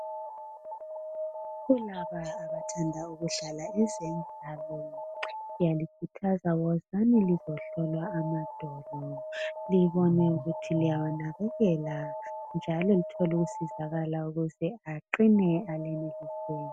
Kulaba abathanda ezemidlalo ngiyalikhuthaza wozani lizohlolwa amadolo libone ukuthi liyawanakekela njalo lithole ukusizakala aqine alenelisele .